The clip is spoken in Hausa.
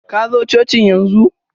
Kazo cocin yanzu!